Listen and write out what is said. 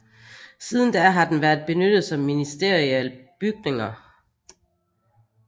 Siden da har den været benyttet som ministerialbygninger